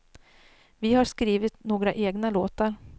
Vi har skrivit några egna låtar.